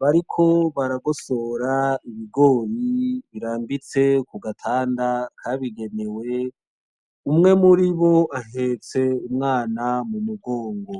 bariko baragosora ibigori birambitse ku gatanda kabigenewe. Umwe muribo ahetse umwana mu mugongo.